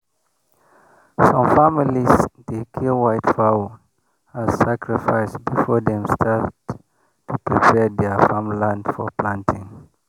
some families dey kill white fowl as sacrifice before dem start to prepare their farm for planting.